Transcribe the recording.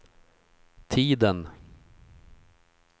tiden